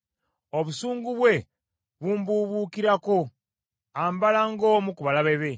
Obusungu bwe bumbubuukirako; ambala ng’omu ku balabe be.